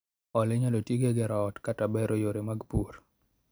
Hola inyalo tigo e gero ot kata bero yore mag pur